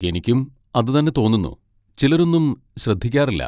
എനിക്കും അതുതന്നെ തോന്നുന്നു, ചിലരൊന്നും ശ്രദ്ധിക്കാറില്ല.